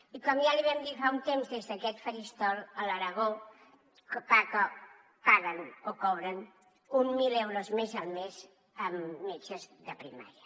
i com ja li vam dir fa un temps des d’aquest faristol a l’aragó paguen o cobren uns mil euros més al mes a metges de primària